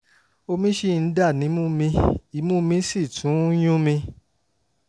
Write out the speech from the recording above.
omi ṣì ń dà nímú mi imú mi sì tún ún yún mi